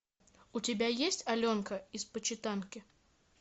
у тебя есть аленка из почитанки